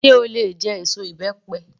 Sé o lè jẹ èso ìbẹ́pẹ?